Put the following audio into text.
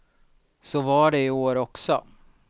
Så var det i år också.